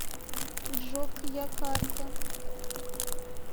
джокьякарта